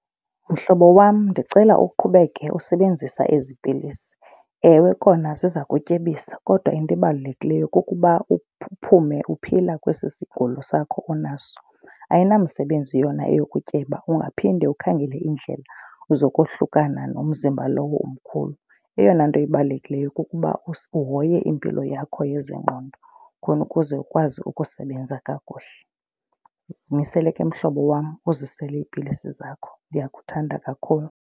Mhlobo wam, ndicela uqhubeke usebenzisa ezi pilisi. Ewe, kona ziza kutyebisa kodwa into ebalulekileyo kukuba uphume uphila kwesi sigulo sakho onaso. Ayinamsebenzi yona eyokutyeba ungaphinde ukhangele iindlela zokohlukana nomzimba lowo omkhulu. Eyona nto ibalulekileyo kukuba uhoye impilo yakho yezengqondo khona ukuze ukwazi ukusebenza kakuhle. Zimisele, ke mhlobo wam, uzisele iipilisi zakho ndiyakuthanda kakhulu.